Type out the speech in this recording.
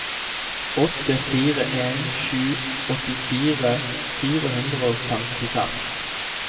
åtte fire en sju åttifire fire hundre og femtifem